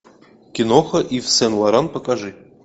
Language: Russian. киноха ив сен лоран покажи